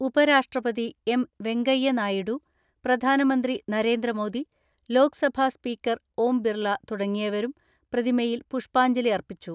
ഉപരാഷ്ട്രപതി എം.വെങ്കയ്യ നായിഡു, പ്രധാനമന്ത്രി നരേ ന്ദ്രമോദി, ലോക്സഭാ സ്പീക്കർ ഓം ബിർള തുടങ്ങിയവരും പ്രതിമയിൽ പുഷ്പാഞ്ജലിയർപ്പിച്ചു.